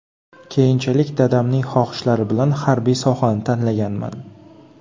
Keyinchalik dadamning xohishlari bilan harbiy sohani tanlaganman.